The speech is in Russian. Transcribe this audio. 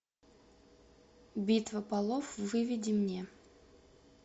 битва полов выведи мне